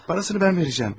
Parasını mən verəcəm.